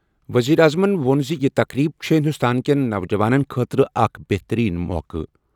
ؤزیٖرِ اعظمن ووٚن زِ یہِ تقریٖب چھےٚ ہِنٛدُستان کیٚن نوجوانن خٲطرٕ اَکھ بہتٔریٖن موقعہٕ۔